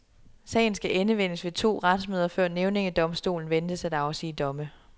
Sagen skal endevendes ved tre to retsmøder, før nævningedomstolen ventes at afsige domme.